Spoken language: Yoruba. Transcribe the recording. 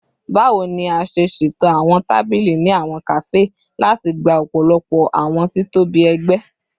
Bawo ni a ṣe ṣeto awọn tabili ni awọn kafe lati gba ọpọlọpọ awọn titobi ẹgbẹ?